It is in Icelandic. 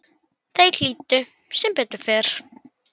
Þeir hlýddu, sem betur fer